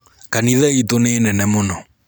Kanitha ĩtu nĩ nene mũno.